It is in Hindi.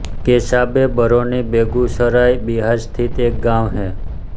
केसाबे बरौनी बेगूसराय बिहार स्थित एक गाँव है